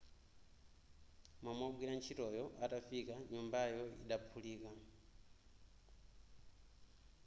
momwe wogwira ntchitoyo atafika nyumbayo idaphulika